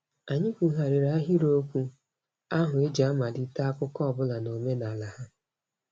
Anyị kwughariri ahịrịokwu ahụ e ji amalite akụkọ ọbụla n'omenala ha.